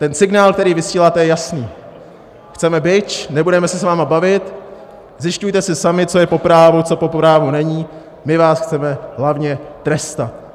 Ten signál, který vysíláte, je jasný: chceme bič, nebudeme se s vámi bavit, zjišťujte si sami, co je po právu, co po právu není, my vás chceme hlavně trestat.